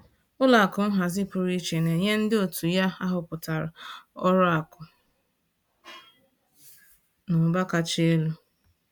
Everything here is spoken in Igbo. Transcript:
Ụlọ akụ nhazi pụrụ iche na-enye ndị òtù ya ahọpụtara ọrụ akụ na ụba kacha elu